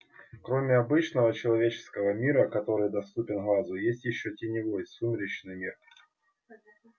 кроме обычного человеческого мира который доступен глазу есть ещё теневой сумеречный мир